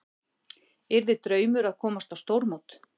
Yrði draumur að komast á stórmót